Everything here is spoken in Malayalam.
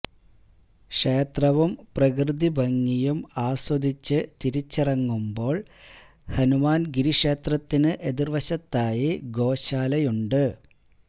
ക്ഷേത്രവും പ്രകൃതി ഭംഗിയും ആസ്വദിച്ച് തിരിച്ചിറങ്ങുമ്പോള് ഹനുമാന്ഗിരി ക്ഷേത്രത്തിന് എതിര്വശത്തായി ഗോശാലയുണ്ട്